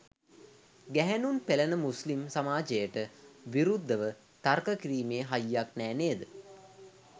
ගැහැණුන් පෙළන මුස්ලිම් සමාජයට විරුද්ධව තර්ක කිරීමේ හයියක් නෑ නේද?